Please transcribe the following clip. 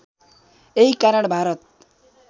यही कारण भारत